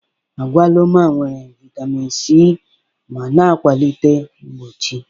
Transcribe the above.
Agwaluma nwere vitamin C ma na-akwalite mgbochi.